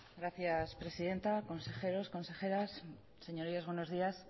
gracias presidenta consejeros consejeras señorías buenos días